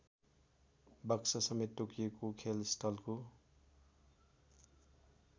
बक्ससमेत तोकिएको खेलस्थलको